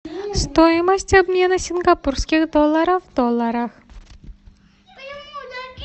стоимость обмена сингапурских долларов в долларах